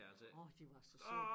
Orh de var så søde